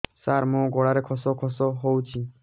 ସାର ମୋ ଗଳାରେ ଖସ ଖସ ହଉଚି